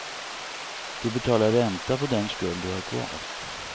Du betalar ränta på den skuld du har kvar.